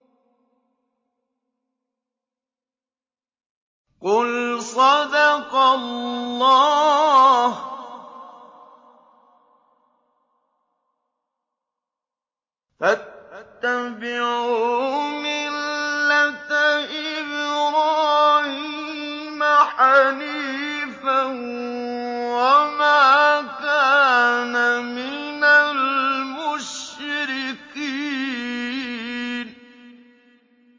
قُلْ صَدَقَ اللَّهُ ۗ فَاتَّبِعُوا مِلَّةَ إِبْرَاهِيمَ حَنِيفًا وَمَا كَانَ مِنَ الْمُشْرِكِينَ